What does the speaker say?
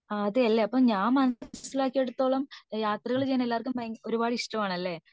അതേലെ അപ്പൊ മനസിലാക്കിയടത്തോളം യാത്രകൾ ചെയ്യാൻ എല്ലാര്ക്കും ഭയങ്കര ഒരുപാട് ഇഷ്ടം ആണാനല്ലേ